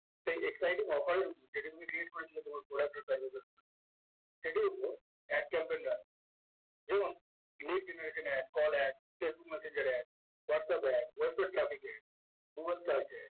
so exciting offer এর delivery create করেছিল তোমার product এর সেটি হল ad campaign branch যেমন let generation ad call ad facebook messenger ad whatsapp ad browser traffic ad